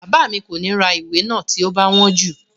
Bàbá mi kò ní ra ìwé náà tí ó bá wọ́n jù